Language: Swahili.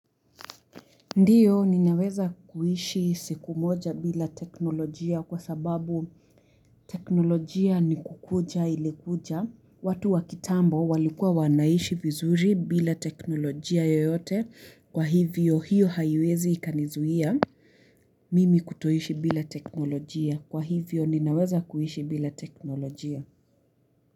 Ndiyo ninaweza kuhishi siku moja bila teknolojia kwa sababu teknolojia ni kukuja ilikuja. Watu wa kitambo walikua wanaishi vizuri bila teknolojia yoyote kwa hivyo hiyo haiwezi ikanizuia mimi kutoishi bila teknolojia. Kwa hivyo ninaweza kuhishi bila teknolojia.